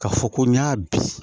Ka fɔ ko n y'a bin